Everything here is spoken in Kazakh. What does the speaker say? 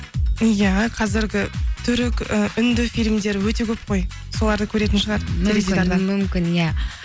иә қазіргі түрік і үнді фильмдер өте көп қой соларды көретін шығар мүмкін иә